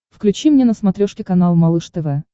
включи мне на смотрешке канал малыш тв